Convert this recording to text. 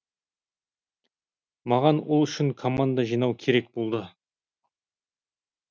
маған ол үшін команда жинау керек болды